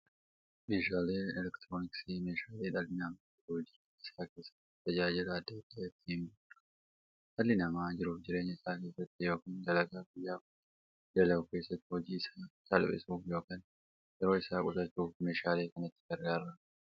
Meeshaaleen elektirooniksii meeshaalee dhalli namaa jiruuf jireenya isaa keessatti, tajaajila adda addaa itti bahuudha. Dhalli namaa jiruuf jireenya isaa keessatti yookiin dalagaa guyyaa guyyaan dalagu keessatti, hojii isaa salphissuuf yookiin yeroo isaa qusachuuf meeshaalee kanatti gargaarama.